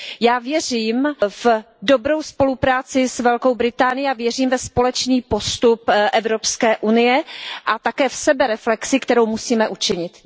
Já věřím v dobrou spolupráci s Velkou Británií a věřím ve společný postup Evropské unie a také v sebereflexi, kterou musíme učinit.